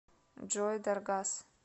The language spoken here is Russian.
джой даргас